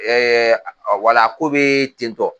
Ɛɛ a ɔ wala o ko be ten tɔ